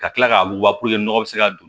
Ka kila k'a wuguba puruke nɔgɔ bɛ se ka don